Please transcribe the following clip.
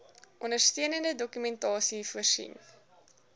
ondersteunende dokumentasie voorsien